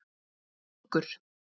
Muggur